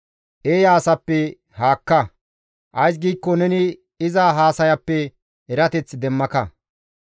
Eeya asappe haakka; ays giikko neni iza haasayappe erateth demmaka.